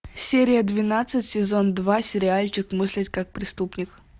серия двенадцать сезон два сериальчик мыслить как преступник